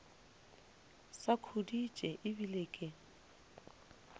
sa khuditše e bile ke